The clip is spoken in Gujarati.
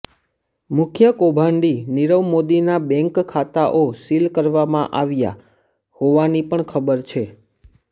મુખ્ય કૌભાંડી નીરવ મોદીના બેન્ક ખાતાઓ સીલ કરવામાં આવ્યાં હોવાની પણ ખબર છે